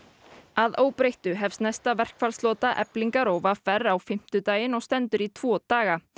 að óbreyttu hefst næsta verkfallslota Eflingar og v r á fimmtudaginn og stendur í tvo daga